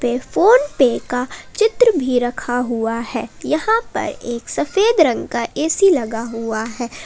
एक फोनपे का चित्र भी रखा हुआ है यहां पर एक सफेद रंग का ए_सी लगा हुआ है।